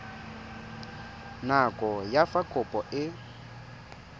nako ya fa kopo e